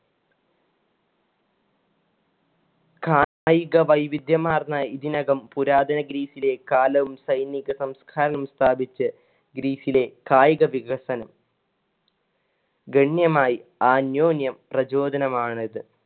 കായിക വൈവിധ്യമാർന്ന ഇതിനകം പുരാതന ഗ്രീസിലെ കാലവും സൈനിക സംസ്കാരവും സ്ഥാപിച്ച് ഗ്രീസിലെ കായിക വികസനം ഗണ്യമായി അന്യോന്യം പ്രചോദനമാണിത്.